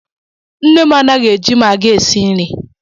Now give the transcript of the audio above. Nne m anaghị eji magịị esi nri ya.